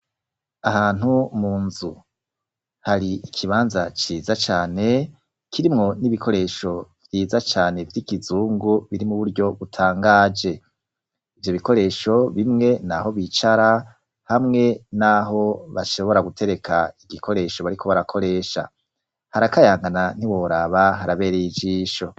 Ahantu mu nzu, hari ikibanza ciza cane kirimwo n'ibikoresho vyiza cane vy'ikizungu biri mu buryo butangaje, ivyo bikoresho bimwe naho bicara hamwe n'aho bashobora gutereka igikoresho bariko barakoresha,l harakayangana ntiworaba haraberey' ijisho.